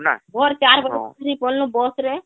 ଭୋର ଭୋର ଚାର ବାଜେ ଧରି ପଲନୁ bus ରେ